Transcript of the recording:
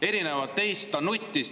Erinevalt teist ta nuttis.